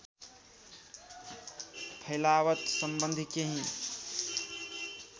फैलावट सम्बन्धि केही